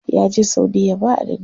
Ya je saudiya ba adadi.